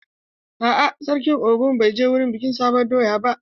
A'a, sarkin Ogun bai je wurin bikin sabon doya ba.